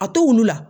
A to wulu la